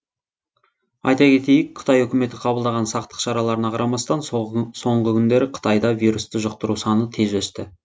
айта кетейік қытай үкіметі қабылдаған сақтық шараларына қарамастан соңғы күндері қытайда вирусты жұқтыру саны тез өсті